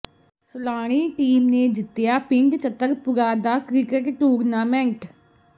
Salani team ਨੇ ਜਿੱਤਿਆ ਪਿੰਡ ਚਤਰਪੁਰਾ ਦਾ ਕ੍ਰਿਕਟ ਟੂਰਨਾਮੈਂਟ